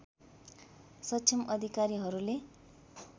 सक्षम अधिकारीहरूले